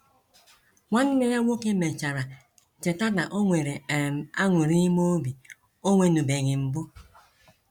Nwanne ya nwoke mèchàrà cheta na ọ nwere um añụrị ímé obi ọ nwenụbeghị mbụ.